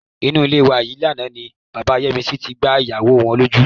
Inú ilé wa yìí lánàá ni bàbá Yẹ́misí tí gbá ìyàwó wọn lójú.